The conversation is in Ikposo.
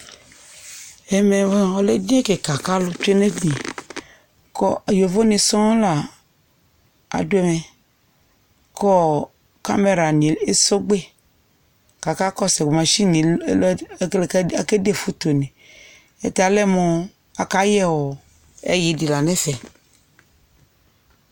ɛmɛ moa ɔlɛ edini kɩkaku alu tsoe nu eyili ku etufue ɔlu ni sɔŋ adu ku camera ni esɔgbe kaka kɔsu alɛnɛ ́ake de fotoe alɛmu ayɛ ayi dɩ la nu ɛtɛ